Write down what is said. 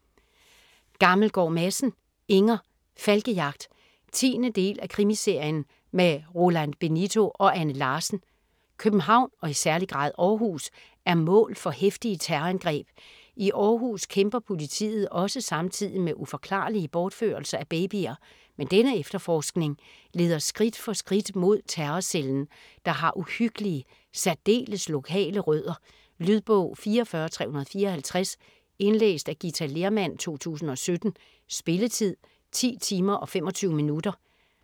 Gammelgaard Madsen, Inger: Falkejagt 10. del af Krimiserien med Roland Benito og Anne Larsen. København og i særlig grad Aarhus er mål for heftige terrorangreb. I Aarhus kæmper politiet også samtidig med uforklarlige bortførelser af babyer, men denne efterforskning leder skridt for skridt mod terrorcellen, der har uhyggelige, særdeles lokale rødder. Lydbog 44354 Indlæst af Githa Lehrmann, 2017. Spilletid: 10 timer, 25 minutter.